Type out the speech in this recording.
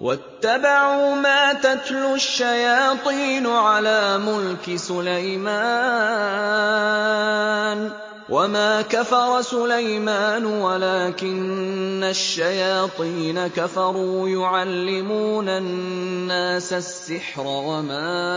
وَاتَّبَعُوا مَا تَتْلُو الشَّيَاطِينُ عَلَىٰ مُلْكِ سُلَيْمَانَ ۖ وَمَا كَفَرَ سُلَيْمَانُ وَلَٰكِنَّ الشَّيَاطِينَ كَفَرُوا يُعَلِّمُونَ النَّاسَ السِّحْرَ وَمَا